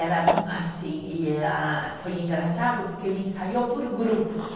Era assim, e eh foi engraçado porque ele ensaiou por grupos.